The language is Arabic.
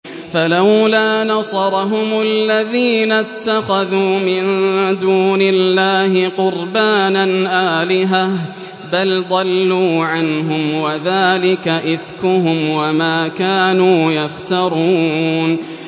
فَلَوْلَا نَصَرَهُمُ الَّذِينَ اتَّخَذُوا مِن دُونِ اللَّهِ قُرْبَانًا آلِهَةً ۖ بَلْ ضَلُّوا عَنْهُمْ ۚ وَذَٰلِكَ إِفْكُهُمْ وَمَا كَانُوا يَفْتَرُونَ